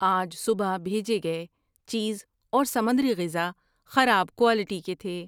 آج صبح بھیجے گئے چیز اور سمندری غذا خراب کوالٹی کے تھے۔